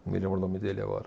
Não me lembro o nome dele agora.